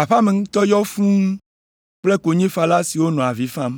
Aƒea me ŋutɔ yɔ fũu kple konyifala siwo nɔ avi fam.